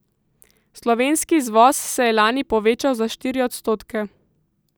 Slovenski izvoz se je lani povečal za štiri odstotke.